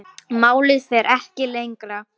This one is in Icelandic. Málið fer ekki lengra.